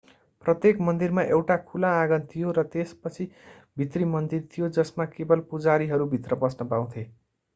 प्रत्येक मन्दिरमा एउटा खुला आँगन थियो र त्यसपछि भित्री मन्दिर थियो जसमा केवल पुजारीहरू भित्र पस्न पाउँथे